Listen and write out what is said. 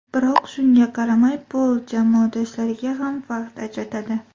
Biroq shunga qaramay, Pol jamoadoshlariga ham vaqt ajratadi.